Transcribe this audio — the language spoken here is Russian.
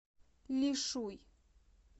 лишуй